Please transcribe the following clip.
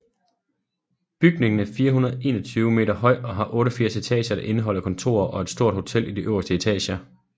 Bygningen er 421 meter høj og har 88 etager der indeholder kontorer og et stort hotel i de øverste etager